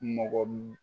Mɔgɔ min